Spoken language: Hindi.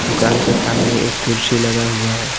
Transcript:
दुकान के सामने एक कुर्सी लगा हुआ है।